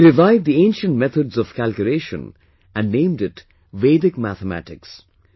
He revived the ancient methods of calculation and named it Vedic Mathematics